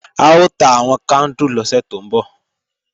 A ó ta àwọn kándù lọ́sẹ̀ tó ń bọ̀